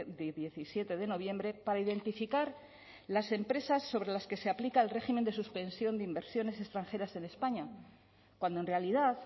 de diecisiete de noviembre para identificar las empresas sobre las que se aplica el régimen de suspensión de inversiones extranjeras en españa cuando en realidad